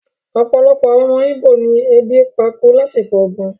Opolopo awon omo Igbo ni ebi pa ku lasiko ogun